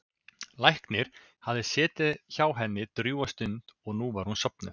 Læknir hafði setið hjá henni drjúga stund og nú var hún sofnuð.